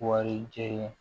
Wari jɛ ye